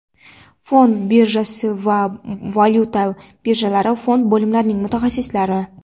fond birjasining va valyuta birjalari fond bo‘limlarining mutaxassislari.